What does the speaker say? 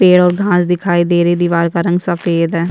पेड़ और घास दिखाई दे रही है दिवार का रंग सफ़ेद है।